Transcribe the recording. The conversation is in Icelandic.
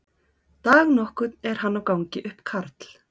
Dag nokkurn er hann á gangi upp Karl